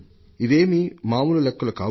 ఇవేమీ మామూలు లెక్కలు కావు